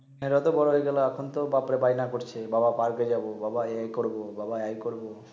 হেটা তো বড় হয়ে গেলো তখন তো বাপে বায়না করছে বাবা পার্কে যাব, বাবা এই করবো, বাবা এই করবো